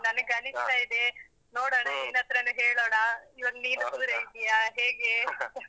ನನಗಸಿಸ್ತಾ ಇದೆ. ನೋಡೋಣಾ ನಿನ್ನತ್ರಾನೇ ಹೇಳೋಣ. ಈವಾಗ್ ನೀನು ಕೂಡ ಇದ್ದಿಯಾ ಹೇಗೆ ?